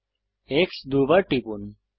X দুইবার টিপুন